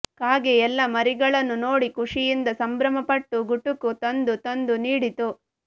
ಕಾಗೆ ಎಲ್ಲ ಮರಿಗಳನ್ನು ನೋಡಿ ಖುಷಿಯಿಂದ ಸಂಭ್ರಮಪಟ್ಟು ಗುಟುಕು ತಂದು ತಂದು ನೀಡಿತು